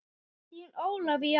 Þín Ólafía.